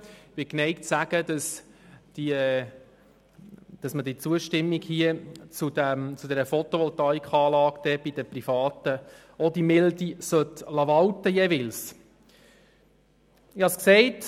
Ich bin geneigt zu sagen, dass man bei der Zustimmung zu einer Photovoltaikanlage bei Privaten dieselbe Milde walten lassen sollte.